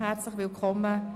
Herzlich willkommen!